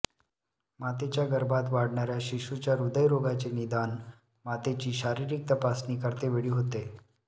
मातेच्या गर्भात वाढणार्या शिशुच्या हृदयरोगाचे निदान मातेची शारीरिक तपासणी करते वेळी होते